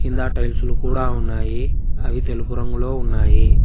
కింద టైల్సులు కూడా ఉన్నాయి అవి తెలుపు రంగులో ఉన్నాయి.